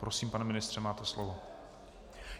Prosím, pane ministře, máte slovo.